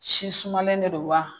Si sumalen de don wa